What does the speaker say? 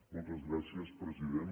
moltes gràcies president